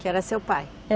Que era seu pai?